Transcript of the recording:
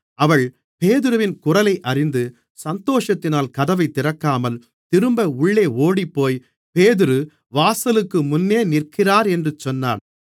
அவள் பேதுருவின் குரலை அறிந்து சந்தோஷத்தினால் கதவைத் திறக்காமல் திரும்ப உள்ளே ஓடிப்போய் பேதுரு வாசலுக்குமுன்னே நிற்கிறார் என்று சொன்னாள்